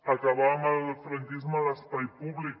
acabar amb el franquisme a l’espai públic